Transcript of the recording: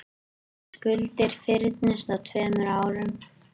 Skuldir fyrnist á tveimur árum